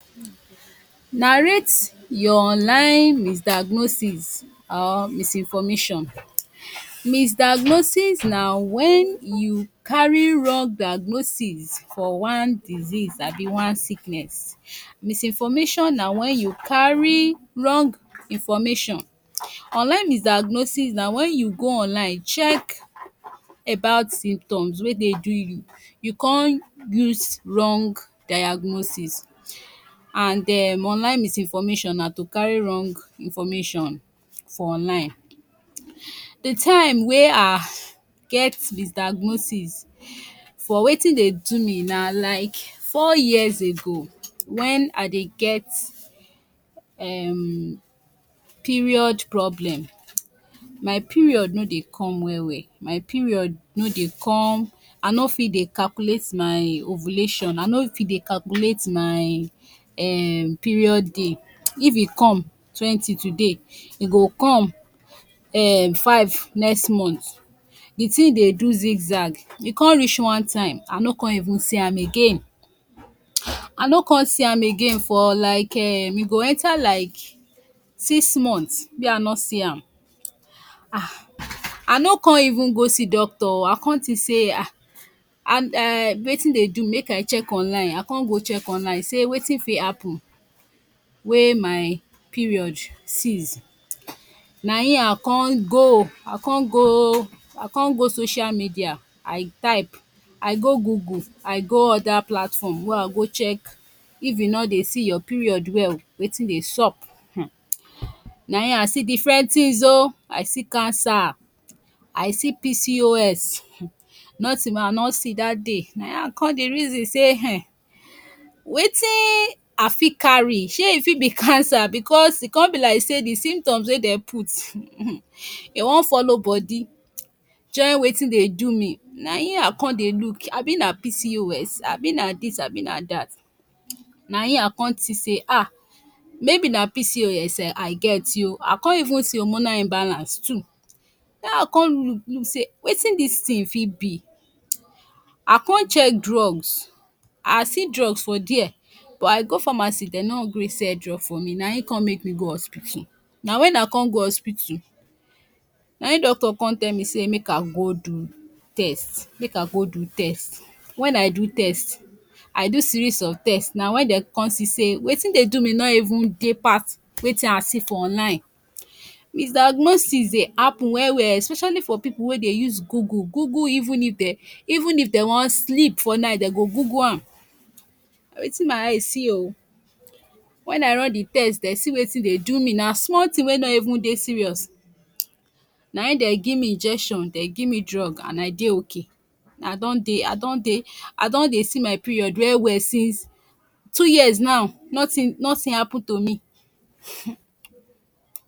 narrate your online misdiagnosis um misinformation misdiagnosis of wen u carry wrong diagnosis for one disease abi one sickness, misinformation na wen u carry wrong information online, misdiagnosis na wen u go online check about symptoms wey dey do you, you com use wrong diagnosis and um online misinformation na to carry wrong information for online, the time we I get misdiagnosis for wetin dey do me na like four years ago when I dey get um period problem my period no dey come, I no fit dey calculate my um ovulation, I no fit det calculate my um period day, if e come twenty today, e go come um five next month, the tin dey do zig zag e reach one time I no even com see am again I no even see am for like um e go enter like six month wey I no see am um I no com even go see doctor o I com think say Um and um wetin dey do me make I check online, I con go check online I com see say wetin fit happen wey my period cease nai I con go con go, I con go social media I type I go Google, I go other platform wey I go check if you no dey see your period well wetin dey sup um nai I see different tins o cancer, I see PCOS um noting wey I no see that day nai I con dey reason say Um wetin I fit carry shey e fit be cancer bcuz e con be like say symptoms wey dem put um e wan follow body join wetin dey do me naim I con dey look abi na PCOS abi na dis abi na that, naim I con see say um maybe na PCOS I get ti o, I con even see hormonal imbalance too nai I con look look say wetin dis tin fit be I con check drugs, I see drugs for der but I go pharmacy dem no gree sell drugs for me nai I com make me go hospital, na wen I con go hospital naim doctor con tell me say wetin I see for online misdiagnosis dey happen well well especially for pipu wey dey use Google Google even if dey dey wan sleep for night dey go Google am na wetin my eye see so o wen I run the test der see wetin dey do me na small thing wey no even dey serious nai Dem give me injection Dem give me drug and I dey okay, I don dey I don dey I don dey see my period well well since two years now nothing nothing happen to me um